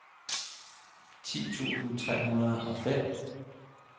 ti tusind tre hundrede og fem